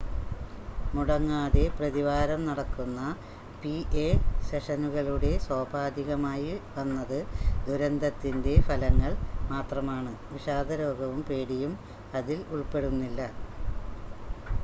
മുടങ്ങാതെ പ്രതിവാരം നടക്കുന്ന പിഎ സെഷനുകളുടെ സോപാധികമായി വന്നത് ദുരന്തത്തിൻ്റെ ഫലങ്ങൾ മാത്രമാണ് വിഷാദരോഗവും പേടിയും അതിൽ ഉൾപ്പെടുന്നില്ല